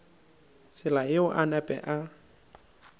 tsela yeo a napa a